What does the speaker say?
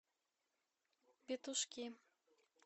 петушки